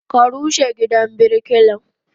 Ka rushe gidan birkilan?